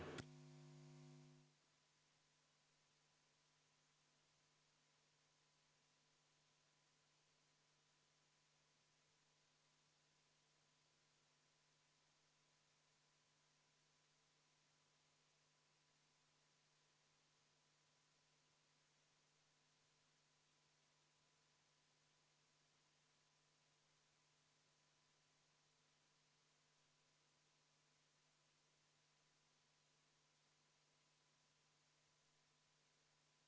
V a h e a e g